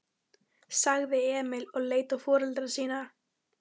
sagði Emil og leit á foreldra sína.